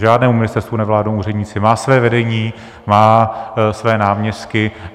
Žádnému ministerstvu nevládnou úředníci, má své vedení, má své náměstky.